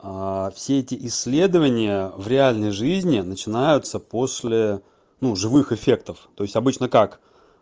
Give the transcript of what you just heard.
все эти исследования в реальной жизни начинаются после ну живых эффектов то есть обычно как